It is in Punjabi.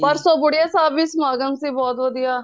ਪਰਸੋ ਬੁੜੀਆਂ ਸਾਹਿਬ ਵੀ ਸਮਾਗਮ ਸੀ ਬਹੁਤ ਵਧੀਆ